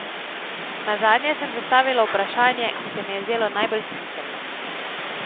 Nazadnje sem zastavila vprašanje, ki se mi je zdelo najbolj smiselno.